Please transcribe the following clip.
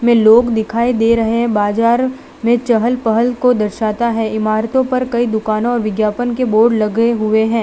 लोग दिखाई दे रहे है बाजार में चहल पहल को दर्शाता है इमारतों पर कई दुकानो और विज्ञापन के बोर्ड ललगे गए हुए है।